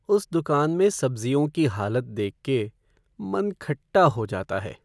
उस दुकान में सब्ज़ियों की हालत देख के मन खट्टा हो जाता है।